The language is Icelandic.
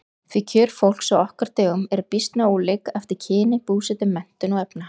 Því kjör fólks á okkar dögum eru býsna ólík eftir kyni, búsetu, menntun og efnahag.